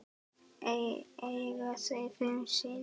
Eiga þau fimm syni.